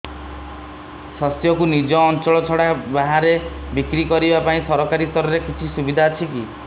ଶସ୍ୟକୁ ନିଜ ଅଞ୍ଚଳ ଛଡା ବାହାରେ ବିକ୍ରି କରିବା ପାଇଁ ସରକାରୀ ସ୍ତରରେ କିଛି ସୁବିଧା ଅଛି କି